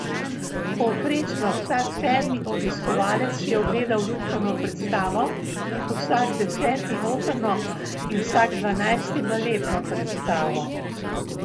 Povprečno vsak sedmi obiskovalec si je ogledal lutkovno predstavo, vsak deseti operno in vsak dvanajsti baletno predstavo.